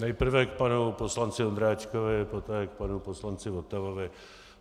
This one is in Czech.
Nejprve k panu poslanci Ondráčkovi, poté k panu poslanci Votavovi.